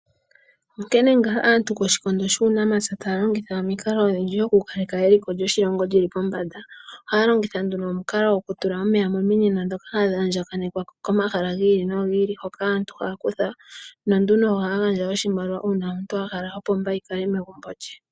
Onkene ngaa aantu ko shikando shuu namapyataya longitha omikalo odhindjidho kukaleka eliko lyo shilongo lili pombanda. Ohaya longitha nduno omukalo go kula omeya mo minino ndhoka hadhi andjanekwa ko mahala gi iki no gi ili, hoka aantu haya kutha, nonduno ohaya gandja oshimaliwa uuna omuntu a hala opomba yi kale megumbo lye.